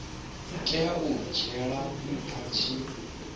tea u dzhielwa nha tshi